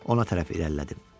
Ona tərəf irəlilədim.